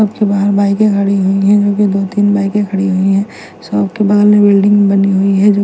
अबकी बाहर बाइके खड़ी हुई हैं और दो तिन बाइके खड़ी हुई है शॉप के बगल में बिल्डिंग बनी हुई है जो--